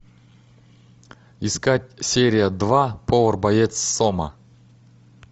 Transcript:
искать серия два повар боец сома